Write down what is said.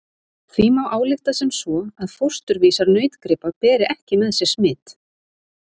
Því má álykta sem svo að fósturvísar nautgripa beri ekki með sér smit.